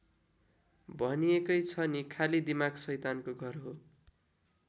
भनिएकै छ नि खाली दिमाग सैतानको घर हो।